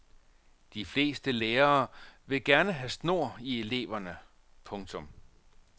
De fleste lærere vil gerne have snor i eleverne. punktum